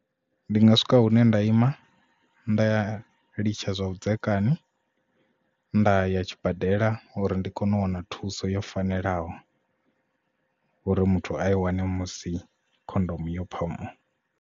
Ndi nga swika hune nda ima nda ya litsha zwa vhudzekani nda ya tshibadela uri ndi kone u wana thuso yo fanelaho uri muthu a i wane musi khondomu yo phamuwa.